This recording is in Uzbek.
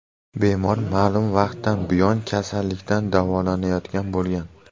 Bemor ma’lum vaqtdan buyon kasallikdan davolanayotgan bo‘lgan.